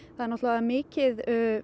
það er orðið mikið